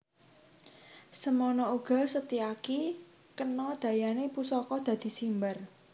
Semana uga Setyaki kena dayane pusaka dadi simbar